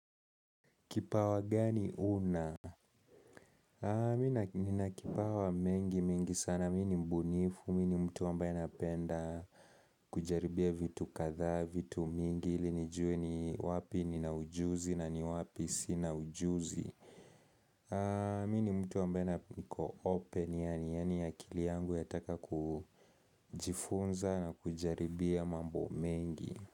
Kipawa gani una? Mina kipawa mengi mingi sana, mini mbunifu, mini mtu ambaye napenda kujaribia vitu katha, vitu mingi, ili nijue ni wapi ni na ujuzi na ni wapi si na ujuzi. Mini mtu ambaye niko open, yani ya akili yangu yataka kujifunza na kujaribia mambo mengi.